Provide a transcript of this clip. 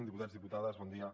diputats diputades bon dia